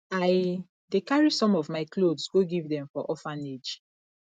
i dey carry some of my cloths go give dem for orphanage